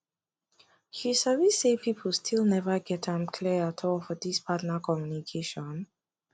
you sabi say people still never get am clear at all for this partner communication